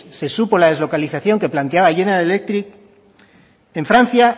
se supo la deslocalización que planteaba general electric en francia